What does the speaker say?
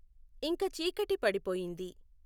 ఇంక చీకటి పడిపోయింది